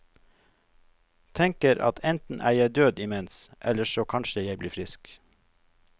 Tenker at enten er jeg død imens, eller så kanskje jeg blir frisk.